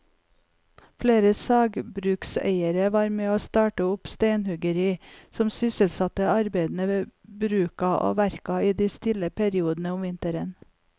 Flere sagbrukseiere var med å starte opp steinhuggeri som sysselsatte arbeidere ved bruka og verka i de stille periodene om vinteren.